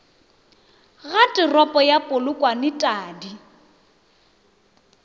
ga toropo ya polokwane tadi